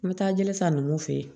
N bɛ taa jeli ta ninnu fɛ yen